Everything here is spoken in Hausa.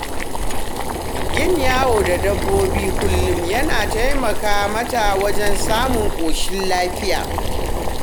Yin yawo da dabba kullum yana taimaka mata wajen samun ƙoshin lafiya.